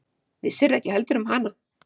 Vissirðu ekki heldur um hana?